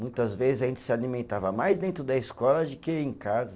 Muitas vezes a gente se alimentava mais dentro da escola de que em casa.